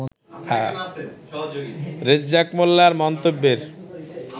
রেজ্জাক মোল্লার মন্তব্যের